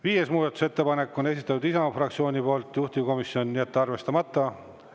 Viienda muudatusettepaneku on esitanud Isamaa fraktsioon, juhtivkomisjon: jätta arvestamata.